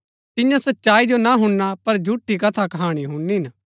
तिन्या सच्चाई जो ना हुणना पर झूठी कथाकहाणी हुणनी हिन